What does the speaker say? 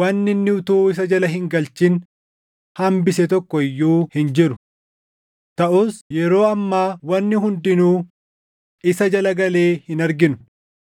wanni inni utuu isa jala hin galchin hambise tokko iyyuu hin jiru. Taʼus yeroo ammaa wanni hundinuu isa jala galee hin arginu.